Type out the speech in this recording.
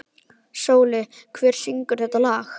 Sóli, hver syngur þetta lag?